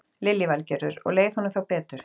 Lillý Valgerður: Og leið honum þá betur?